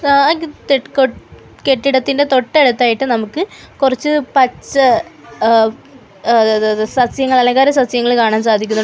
ആഹ് ഗിത് ട് കൊ ട് കെട്ടിടത്തിൻ്റെ തൊട്ടടുത്തായിട്ട് നമുക്ക് കൊറച്ച് പച്ച ആഹ് അതാത് സസ്യങ്ങൾ അലങ്കാരസസ്യങ്ങൾ കാണാൻ സാധിക്കുന്നുണ്ട്.